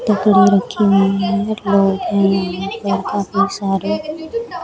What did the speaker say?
टोकरी रखी हुई हैं लोग हैं यहां पर काफी सारे।